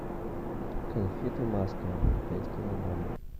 конфеты маска пять килограмм